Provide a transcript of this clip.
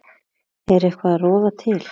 Er eitthvað að rofa til?